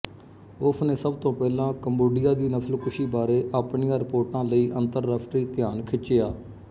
ਉਸਨੇ ਸਭ ਤੋਂ ਪਹਿਲਾਂ ਕੰਬੋਡੀਆ ਦੀ ਨਸਲਕੁਸ਼ੀ ਬਾਰੇ ਆਪਣੀਆਂ ਰਿਪੋਰਟਾਂ ਲਈ ਅੰਤਰਰਾਸ਼ਟਰੀ ਧਿਆਨ ਖਿੱਚਿਆ